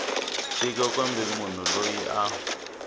tiko kumbe munhu loyi a